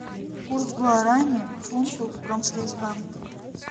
курс гуарани к фунту в промсвязьбанке